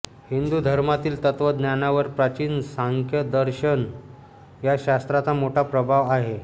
हिंदू धर्मातील तत्त्वज्ञानावर प्राचीन सांख्यदर्शन या शास्त्राचा मोठा प्रभाव आहे